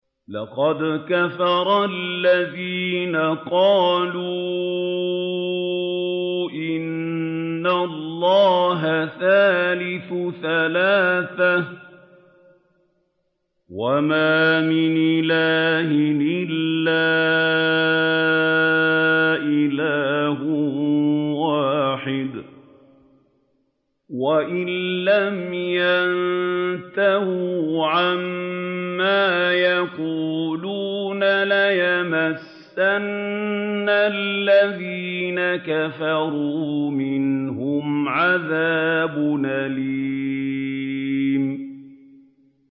لَّقَدْ كَفَرَ الَّذِينَ قَالُوا إِنَّ اللَّهَ ثَالِثُ ثَلَاثَةٍ ۘ وَمَا مِنْ إِلَٰهٍ إِلَّا إِلَٰهٌ وَاحِدٌ ۚ وَإِن لَّمْ يَنتَهُوا عَمَّا يَقُولُونَ لَيَمَسَّنَّ الَّذِينَ كَفَرُوا مِنْهُمْ عَذَابٌ أَلِيمٌ